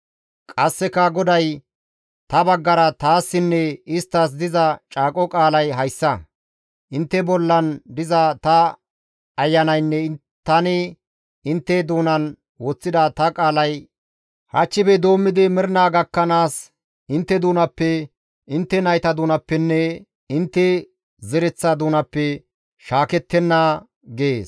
Qasseka GODAY, «Ta baggara taassinne isttas diza caaqo qaalay hayssa; intte bolla diza ta Ayanaynne tani intte doonan woththida ta qaalay hachchife doommidi mernaa gakkanaas, intte doonappe, intte nayta doonappenne intte zereththa doonappe shaakettenna» gees.